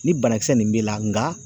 Ni banakisɛ nin b'i la nga